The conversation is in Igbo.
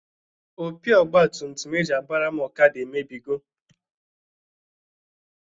Opi ọgbatumtum e ji agbara m ọkada emebigo.